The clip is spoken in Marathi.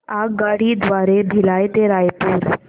आगगाडी द्वारे भिलाई ते रायपुर